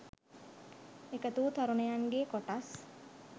එකතු වූූ තරුණයන්ගේ කොටස්